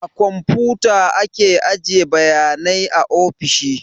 A komputa ake ajiye bayanai a ofisoshi